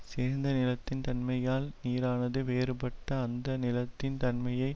சேர்ந்த நிலத்தின் தன்மையால் நீரானது வேறுபட்டு அந்த நிலத்தின் தன்மையை